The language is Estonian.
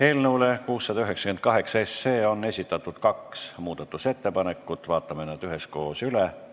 Eelnõu 698 kohta on esitatud kaks muudatusettepanekut, vaatame nad üheskoos läbi.